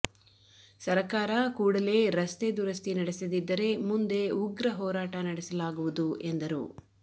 ಸರಕಾರ ಕೂಡಲೇ ರಸ್ತೆ ದುರಸ್ತಿ ನಡೆಸದಿದ್ದರೆ ಮುಂದೆ ಉಗ್ರ ಹೋರಾಟ ನಡೆಸಲಾಗುವುದು ಎಂದರು